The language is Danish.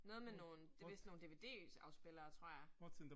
Noget med nogle, det vist nogle DVD afspillere tror jeg